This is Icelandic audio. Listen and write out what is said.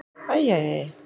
Æ, æ, æ, æ!